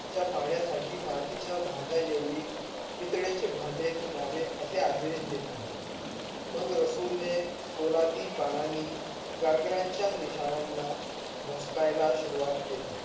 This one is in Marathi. च्या पाण्यासाठी मातीच्या भांड्याएवढी पितळेचे भांडे न्ह्यावे असे आदेश दिले मग रसूल ने पोलादी बाणांनी घागराच्या निशाणान्या भोसकायला सुरवात केले.